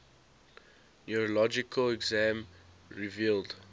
neurologic exam revealed